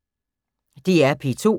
DR P2